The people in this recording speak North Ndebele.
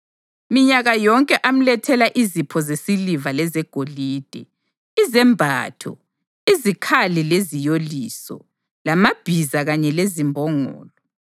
Minyaka yonke amlethela izipho zesiliva lezegolide, izembatho, izikhali leziyoliso, lamabhiza kanye lezimbongolo.